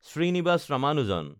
Srinivasa Ramanujan